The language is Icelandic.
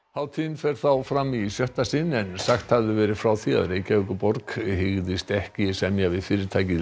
hátíðin fer þá fram í sjötta sinn en sagt hafði verið frá því að Reykjavíkurborg hygðist ekki semja við fyrirtækið